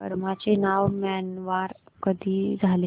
Burma चे नाव Myanmar कधी झाले